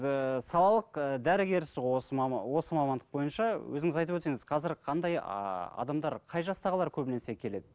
ыыы салалық ы дәрігерсіз ғой осы осы мамандық бойынша өзіңіз айтып өтсеңіз қазір қандай ааа адамдар қай жастағылар көбінесе келеді